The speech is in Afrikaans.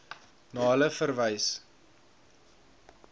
na hulle verwys